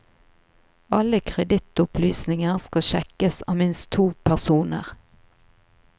Alle kredittopplysninger skal sjekkes av minst to personer.